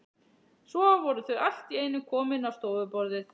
Svo voru þau allt í einu komin á stofuborðið.